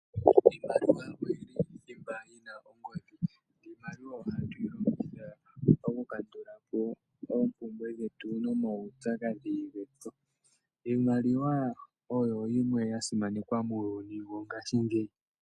Iimaliwa oyili thimba yina ongodhi. Iimaliwa ohatu yilongitha okukandulapo oompumbwe dhetu namupyakadhi getu. Iimaliwa oyo yimwe yasimanekwa muuyuni wongaashingeyi.